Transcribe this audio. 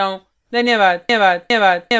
धन्यवाद